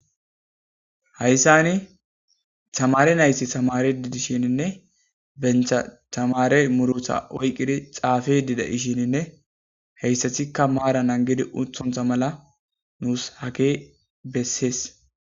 Haysani tamarene na'ayti tamaridi dishenne, banta tamare muruta oyqqidi xaafe dishenne, ha asatikka maara naggidi uttonsona mala nuusi hagge be'essees.